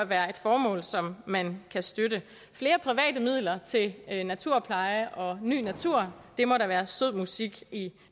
være et formål som man kan støtte flere private midler til naturpleje og ny natur må da være sød musik i